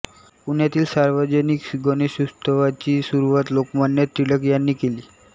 पुण्यातील सार्वजनिक गणेशोत्सवाची सुरुवात लोकमान्य टिळक यांनी केली